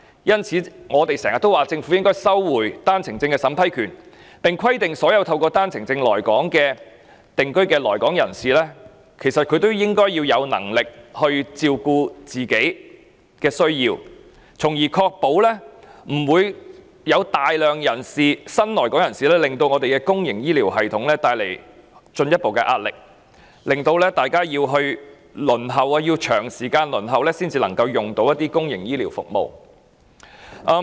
因此，我們經常提出政府應取回單程證審批權，並規定所有透過單程證來港定居的新來港人士須有能力照顧自己的需要，從而避免大量新來港人士為公營醫療系統帶來進一步壓力，以及市民需輪候長時間才能享用公營醫療服務。